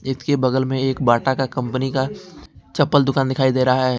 इसके बगल में एक बाटा का कंपनी का चप्पल दुकान दिखाई दे रहा है।